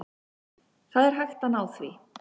Það er hægt að ná því.